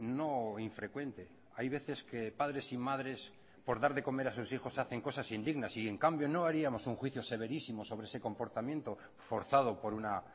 no infrecuente hay veces que padres y madres por dar de comer a sus hijos hacen cosas indignas y en cambio no haríamos un juicio severísimo sobre ese comportamiento forzado por una